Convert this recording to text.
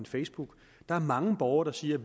facebook der er mange borgere der siger